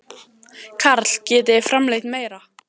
Karl: Getið þið framleitt meira?